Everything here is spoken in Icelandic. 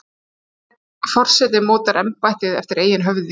Hver forseti mótar embættið eftir eigin höfði.